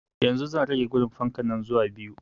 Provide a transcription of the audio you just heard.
Yanzu zan rage gudun fankan nan zuwa biyu